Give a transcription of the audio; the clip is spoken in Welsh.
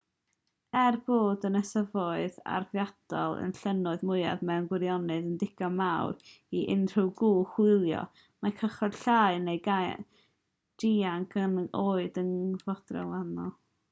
er bod yr ynysforoedd arfordirol a'r llynnoedd mwyaf mewn gwirionedd yn ddigon mawr i unrhyw gwch hwylio mae cychod llai neu gaiac hyd yn oed yn cynnig profiad gwahanol